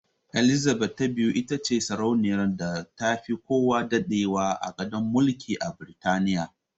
Elizabeth ta biyu itace sarauniyar da tafi kowa daɗewa a gadon mulki a Biritaniya.